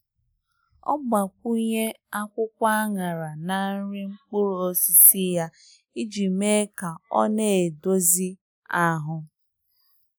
Ọ gbakwụnye akwụkwọ anara na nri mkpụrụ osisi ya iji mee ka ọ na-edozi ahụ.